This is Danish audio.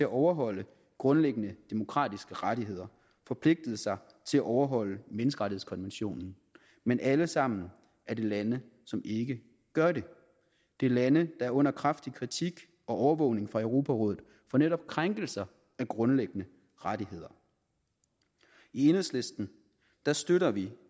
overholde grundlæggende demokratiske rettigheder forpligtet sig til at overholde menneskerettighedskonventionen men alle sammen er lande som ikke gør det det er lande er under kraftig kritik og overvågning af europarådet for netop krænkelser af grundlæggende rettigheder i enhedslisten støtter vi